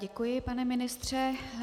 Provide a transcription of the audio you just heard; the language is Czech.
Děkuji, pane ministře.